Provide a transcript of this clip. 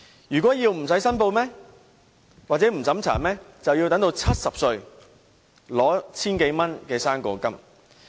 如果要不經審查或不用申報，便要等到70歲，領取 1,000 多元的"生果金"。